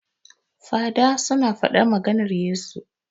Fada su na faɗar maganar Yesu